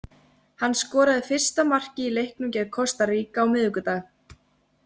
Hann skoraði fyrsta markið í leiknum gegn Kosta Ríka á miðvikudag.